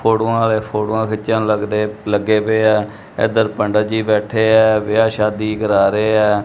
ਫੋਟੋਆਂ ਵਾਲੇ ਫੋਟੋਆਂ ਖਿੱਚਣ ਲੱਗਦੇ ਲੱਗੇ ਪਏ ਆ ਇਧਰ ਪੰਡਿਤ ਜੀ ਬੈਠੇ ਆ ਵਿਆਹ ਸ਼ਾਦੀ ਕਰਾ ਰਹੇ ਆ।